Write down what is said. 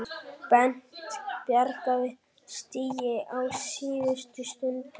Bent bjargaði stigi á síðustu stundu